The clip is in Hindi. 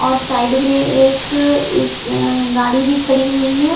और साइड में एक इस अ गाड़ी भी खड़ी हुई है।